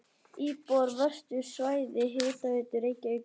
Íbúar á veitusvæði Hitaveitu Reykjavíkur eru um